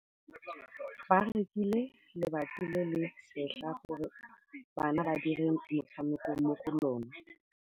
Ba rekile lebati le le setlha gore bana ba dire motshameko mo go lona.